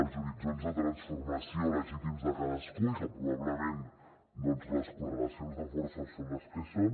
els horitzons de transformació legítims de cadascú i que probablement doncs les correlacions de forces són les que són